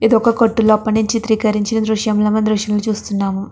ఇదొక కొట్టు లోపల చిత్రీకరించిన దృశ్యంలా మనమీ దృశ్యంలో చూస్తున్నాం.